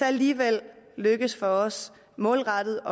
alligevel lykkes for os målrettet